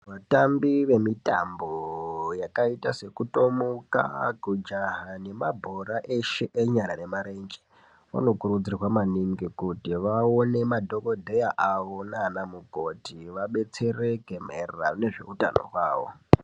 Vatambi vemitambo yakaite sekutomuka, kujaha nemabhora eshe enyara nemarenje vanokurudzirwa maningi kuti vaone madhokodeya avo nanamukoti vabetsereke maererano nezve utano hwavo.